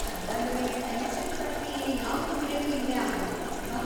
ಹಾಗಾದ್ರೆ, ಪೆನ್ಷನ್‌ ಪ್ರಕ್ರಿಯೆ ಯಾವ್ ತೊಂದ್ರೆನೂ ಇಲ್ದೇ ಆಗುತ್ತೆ, ಅಲ್ವಾ?